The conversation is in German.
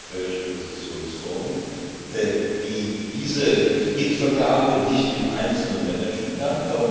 der Europäische Investitionsfonds diese Kreditvergabe nicht im Einzelnen managen kann.